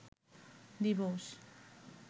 দিবস